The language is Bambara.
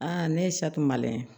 ne ye saki maliyɛn ye